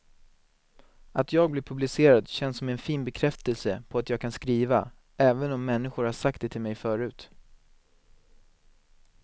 Att jag blir publicerad känns som en fin bekräftelse på att jag kan skriva, även om människor har sagt det till mig förut.